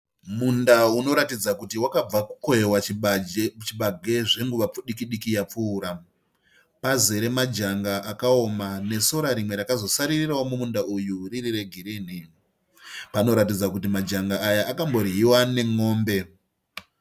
Munda unoratidza kuti wakabva kukohwewa chibage zvenguva pfupi diki diki yapfuura. Pazere majanga akaoma nesora rimwe rakazosaririrawo mumunda uyu riri regirinhi. Panoratidza kuti majanga aya akambodyiwa nemombe.